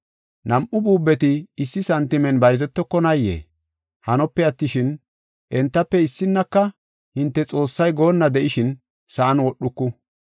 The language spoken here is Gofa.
Nam7u buubeti issi santimen bayzetokonayee? Hanope attishin, entafe issinnaka hinte Xoossay goonna de7ishin sa7an wodhuku.